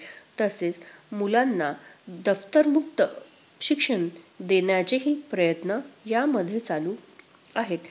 तसेच मुलांना दप्तरमुक्त शिक्षण देण्याचेही प्रयत्न यामध्ये चालु आहेत.